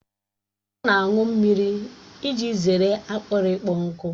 Ọ na-aṅụ mmiri iji zere akpịrị ịkpọ nkụ